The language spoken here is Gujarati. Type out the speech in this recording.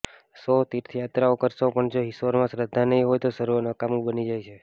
સો તીર્થયાત્રાઓ કરશો પણ જો ઈશ્વરમાં શ્રદ્ધા નહિ હોય તો સર્વ નકામું બની જાય છે